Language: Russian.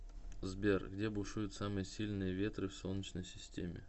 сбер где бушуют самые сильные ветры в солнечной системе